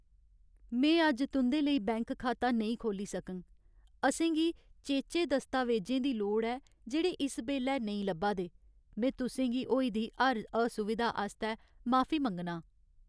में अज्ज तुं'दे लेई बैंक खाता नेईं खोह्ल्ली सकङ । असें गी चेचे दस्तावेजें दी लोड़ ऐ जेह्ड़े इस बेल्लै नेईं लब्भा दे। में तुसें गी होई दी हर असुविधा आस्तै माफी मंग्गनां।